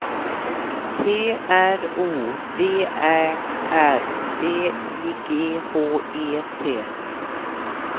T R O V Ä R D I G H E T